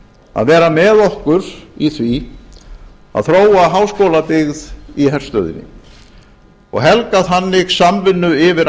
að vera með okkur í því að þróa háskólabyggð í herstöðinni og helga þannig samvinnu yfir